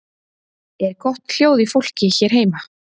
Er gott hljóð í fólki hér heima?